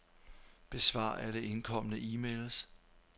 Besvar alle indkomne e-mails.